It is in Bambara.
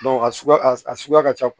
a suguya a suguya ka ca